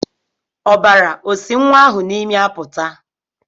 Ọbara o nwa ahụ n'imi pụta?